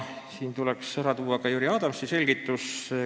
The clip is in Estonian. Siin tuleb ära tuua ka Jüri Adamsi selgitus.